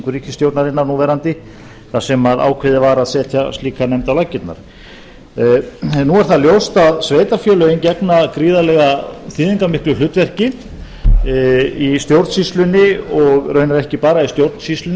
ríkisstjórnarinnar núverandi þar sem ákveðið var að setja slíka nefnd á laggirnar nú er það ljóst að sveitarfélögin gegna gríðarlega í stjórnsýslunni og raunar ekki bara í stjórnsýslunni